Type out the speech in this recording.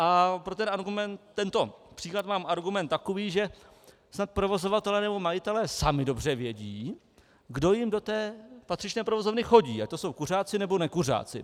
A pro tento příklad mám argument takový, že snad provozovatelé nebo majitelé sami dobře vědí, kdo jim do té patřičné provozovny chodí, ať to jsou kuřáci, nebo nekuřáci.